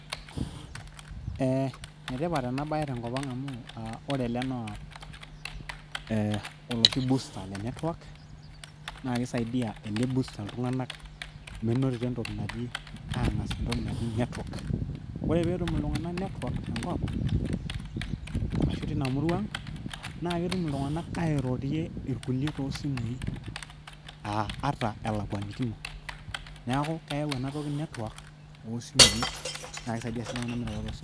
ee enetipat ena bae tenkop ang amu ee ore ele naa oloshi booster le network naa kisaidia ele booster iltunganak menotito entoki naji network. ore petum iltunganak network tenkop ashu tina murrua naa ketum iltunganak airorie irkulie tosimui aa ata elakwanikino neaku keyau ena toki network osimui